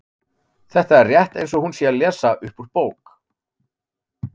Þetta er rétt eins og hún sé að lesa upp úr bók.